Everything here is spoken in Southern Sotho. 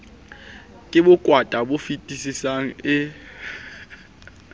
ke bokwata bo fetisisang e